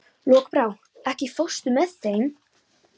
Lokbrá, ekki fórstu með þeim?